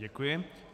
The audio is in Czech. Děkuji.